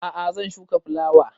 A'a zan shuka fulawa